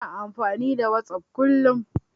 Ina amfani da Whatsapp kullum.